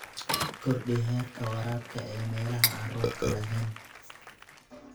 Kordhi heerka waraabka ee meelaha aan roobka lahayn.